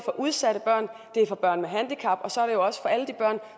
udsatte børn børn med handicap og